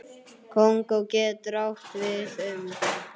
Kongó getur átt við um